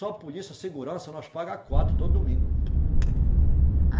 Só polícia, segurança, nós paga quatro todo domingo.